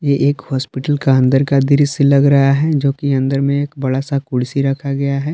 ये एक हॉस्पिटल का अंदर का दृश्य लग रहा है जोकि अंदर में एक बड़ा सा कुर्सी रखा गया है।